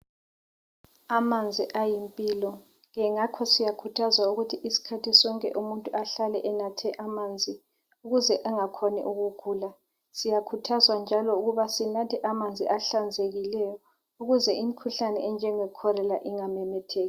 Amanzi ayimpilo, ke ngakho siyakhuthazwa ukuthi isikhathi sonke umuntu ahlale enathe amanzi ukuze angakhoni ukugula. Siyakhuthazwa njalo ukuba sinathe amanzi ahlanzekileyo ukuze imikhuhlane enjengekholera ingamemetheki.